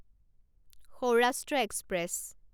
Saurashtra express